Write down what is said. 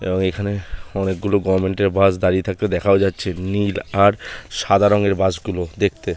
এবং এখানে অনেকগুলো গভর্মেন্টের বাসগুলো দাঁড়িয়ে থাকতে দেখাও যাচ্ছে। নীল আর সাদা রংয়ের বাসগুলো দেখতে--